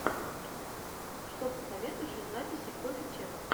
что посоветуешь из записей коффи ченнэл